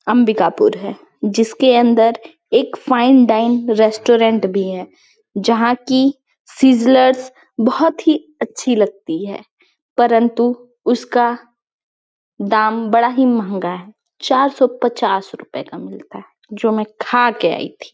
अंबिकापुर है जिसके अंदर एक फाइन डाइन रेस्टोरेंट भी है जहाँ कि सीज़्ज़लेर्स बहोत ही अच्छी लगती है परन्तु उसका दाम बड़ा ही महँगा है चार सौ पचास रुपये का मिलता है जो मै खा के आई थी--